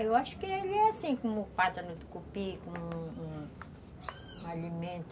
Eu acho que ele é assim, como o pato no tucupi, como um um um alimento